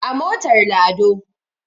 A motar lado